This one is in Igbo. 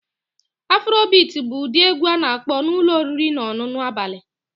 Afrobeat bụ ụdị egwu a na-akpọ na ụlọ oriri na ọṅụṅụ abalị